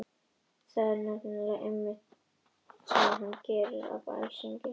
Það er nefnilega einmitt það sem hann gerir- sagði hún, skrækróma í lokin af æsingi.